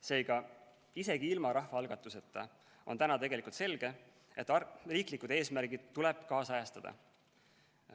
Seega, isegi ilma rahvaalgatuseta on selge, et riiklikud eesmärgid tuleb ajakohastada.